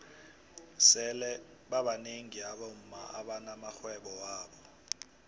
sele babnengi abomma abana maxhwebo wabo